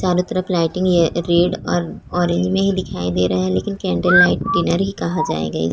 चारों तरफ lighting red और ऑरेंज में ही दिखाई दे रहा है लेकिन कैंडल लाइट डिनर ही कहा जाएगा।